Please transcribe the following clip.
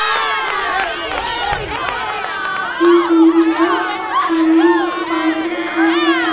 इस इमेज मे सामने एक पार्क दिखाई दे रहा --